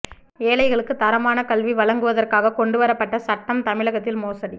ஏழைகளுக்கு தரமான கல்வி வழங்குவதற்காக கொண்டு வரப்பட்ட சட்டம் தமிழகத்தில் மோசடி